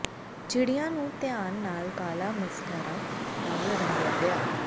ਚਿੜੀਆਂ ਨੂੰ ਧਿਆਨ ਨਾਲ ਕਾਲਾ ਮਸਕਾਰਾ ਨਾਲ ਰੰਗਿਆ ਗਿਆ